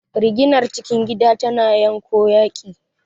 Riginar cikin gida tana janyo yaƙi.